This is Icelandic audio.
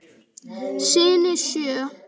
Syni sjö.